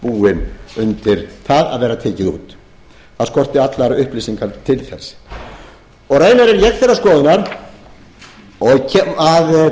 búið undir það að vera tekið út það skorti allar upplýsingar til þess raunar er ég þeirrar skoðunar að